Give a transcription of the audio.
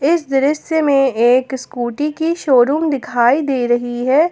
इस दृश्य में एक स्कूटी की शोरूम दिखाई दे रही है।